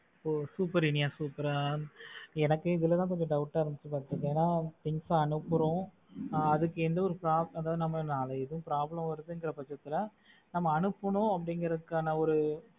ஓ super இனியா super அஹ் எனக்கு இதுல தான் கொஞ்சம் doubt ஆ இருந்துச்சு ஏன்னா things அனுப்புறோம் அஹ் அதுக்கு எந்த ஒரு நம்ம எந்த ஒரு problem வருதுங்குற பட்சத்துல நாம அனுப்புறோம் அப்படிங்கறதுக்கான ஒரு